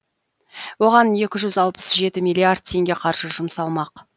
оған екі жүз алпыс жеті миллиард теңге қаржы жұмсалмақ